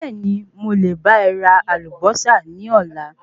Bẹ̀ẹ́ni mo lè bá e ra Àlùbósà ní Ọ̀la